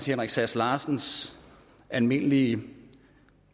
henrik sass larsens almindelige